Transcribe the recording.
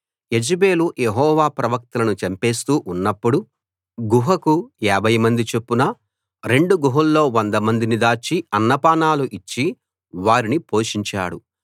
యెజెబెలు Jehovah ప్రవక్తలను చంపేస్తూ ఉన్నప్పుడు గుహకు యాభై మంది చొప్పున రెండు గుహల్లో వంద మందిని దాచి అన్నపానాలు ఇచ్చి వారిని పోషించాడు